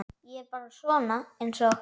Ég er bara svona einsog.